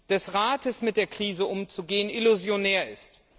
des Rates, mit der Krise umzugehen, illusionär ist.